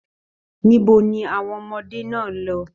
Níbo ni àwọn ọmọdé náà lọ?